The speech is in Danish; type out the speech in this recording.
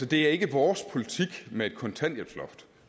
det er ikke vores politik med et kontanthjælpsloft